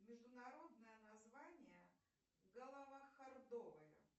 международное название головохордовые